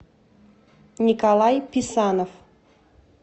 николай писанов